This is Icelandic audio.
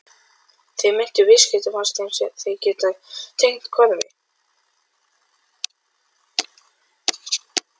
Þessi meintu viðskipti fannst þeim þeir geta tengt hvarfi